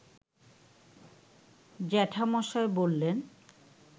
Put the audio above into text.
জ্যাঠামশায় বললেন